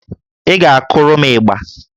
Ị ga-akụrụ m ịgbà